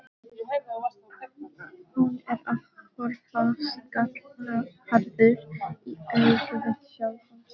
Hún er að horfast gallharður í augu við sjálfan sig.